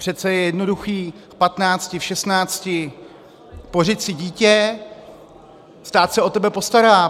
Přece je jednoduché v patnácti, v šestnácti, pořiď si dítě, stát se o tebe postará.